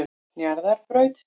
Njarðarbraut